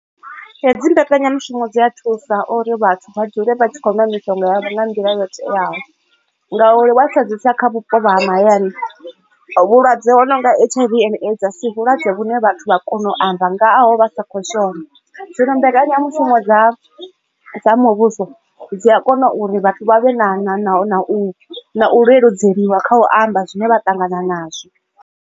Hedzi mbekanyamushumo dzi a thusa uri vhathu vha dzule vha tshi kho nwa mishonga yavho nga nḓila yo teaho ngauri wa sedzesa kha vhupo ha mahayani vhulwadze ho nonga H_I_V and AIDS a si vhulwadze vhune vhathu vha kona u amba ngaho vha sa kho shona zwino dzi mbekanyamushumo dza muvhuso dzi a kona uri vhathu vha vhe na na na na u leludzeliwa kha u amba zwine vha ṱangana nazwo.